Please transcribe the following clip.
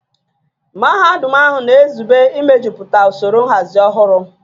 Mahadum ahụ na-ezube imejuputa usoro nhazi ọhụrụ